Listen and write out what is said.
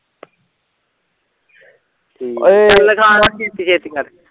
ਠੀਕ ਚੱਲ ਲਿਖਾ ਨਾ ਛੇਤੀ ਛੇਤੀ ਕਰ